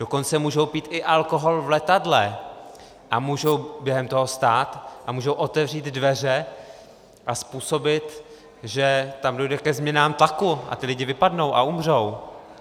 Dokonce můžou pít i alkohol v letadle a můžou během toho vstát a můžou otevřít dveře a způsobit, že tam dojde ke změnám tlaku a ti lidé vypadnou a umřou.